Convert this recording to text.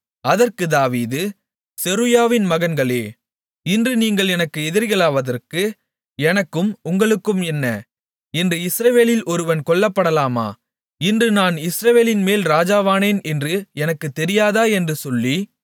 அதற்கு தாவீது செருயாவின் மகன்களே இன்று நீங்கள் எனக்கு எதிரிகளாவதற்கு எனக்கும் உங்களுக்கும் என்ன இன்று இஸ்ரவேலில் ஒருவன் கொல்லப்படலாமா இன்று நான் இஸ்ரவேலின்மேல் ராஜாவானேன் என்று எனக்குத் தெரியாதா என்று சொல்லி